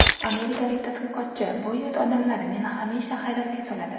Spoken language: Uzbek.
Amerikalik tadqiqotchi: Bu yurt odamlari meni hamisha hayratga soladi.